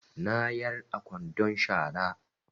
Na yar a kwandon shara